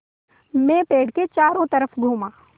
मैं पेड़ के चारों तरफ़ घूमा